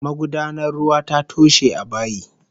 Magudanar ruwa ta toshe a bayi